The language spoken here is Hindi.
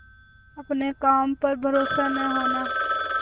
अपने काम पर भरोसा न होना